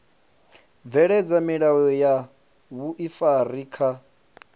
bveledza milayo ya vhuifari kha